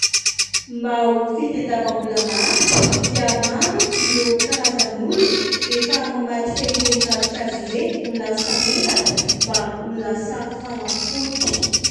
Mba ho fitadiavam-bola maharitra dia maro ireo karazan'olona efa mamadika ireny ravinkazo ireny ho lasa menaka mba ho lasa fanafody.